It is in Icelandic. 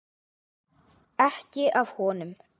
Ekki af honum.